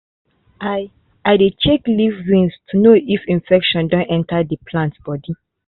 i i dey check leaf veins to know if infection don enter the plant body